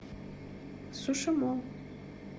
суши молл